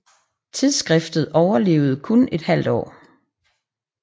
Tidsskriftet overlevede kun et halvt år